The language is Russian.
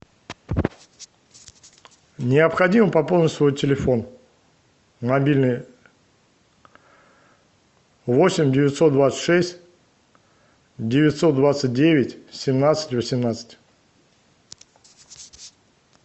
необходимо пополнить свой телефон мобильный восемь девятьсот двадцать шесть девятьсот двадцать девять семнадцать восемнадцать